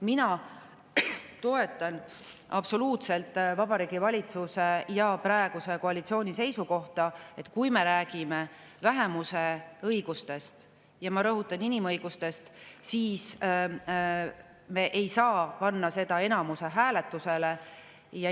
Mina toetan absoluutselt Vabariigi Valitsuse ja praeguse koalitsiooni seisukohta, et kui me räägime vähemuse õigustest – ma rõhutan: inimõigustest –, siis me ei saa panna seda enamushääletusele.